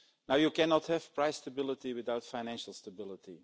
You cannot have price stability without financial stability